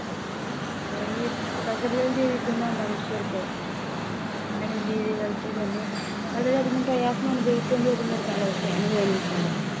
ഏർ ഈ പ്രകൃതിയിൽ ജീവിക്കുന്ന മനുഷ്യർക്ക് അല്ലെങ്കിൽ ജീവികൾക്ക് തന്നെ വളരെ അധികം പ്രയാസം അനുഭവക്കേണ്ടിവരുന്ന കാലാവസ്ഥയാണ് വേനൽക്കാലം